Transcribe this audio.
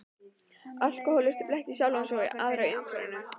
Alkohólistinn blekkir sjálfan sig og aðra í umhverfinu.